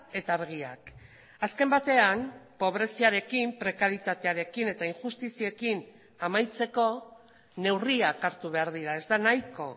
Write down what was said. eta argiak azken batean pobreziarekin prekarietatearekin eta injustiziekin amaitzeko neurriak hartu behar dira ez da nahiko